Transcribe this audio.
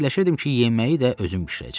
Fikirləşirdim ki, yeməyi də özüm bişirəcəm.